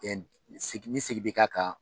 Ni sigi bi ka kan